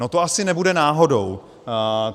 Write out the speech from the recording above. No, to asi nebude náhodou.